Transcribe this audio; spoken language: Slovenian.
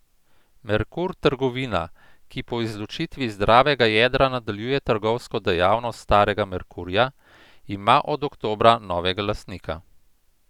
Merkur trgovina, ki po izločitvi zdravega jedra nadaljuje trgovsko dejavnost starega Merkurja, ima od oktobra novega lastnika.